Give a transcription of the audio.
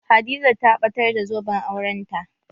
Hadiza ta batar da zoben aurenta